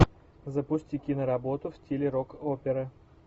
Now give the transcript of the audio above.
запусти киноработу в стиле рок опера